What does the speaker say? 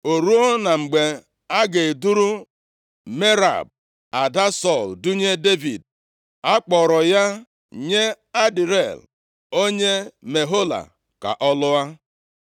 O ruo, na mgbe a ga-eduru Merab, ada Sọl dunye Devid, akpọrọ ya nye Adriel, onye Mehola ka ọ lụọ.